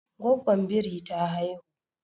Gwaggon biri ta haihu